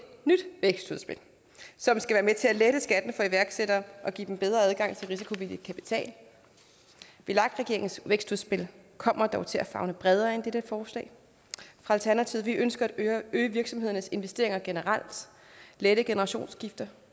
nyt vækstudspil som skal være med til at lette skatten for iværksættere og give dem bedre adgang til risikovillig kapital vlak regeringens vækstudspil kommer dog til at favne bredere end dette forslag fra alternativet vi ønsker at øge virksomhedernes investeringer generelt lette generationsskifter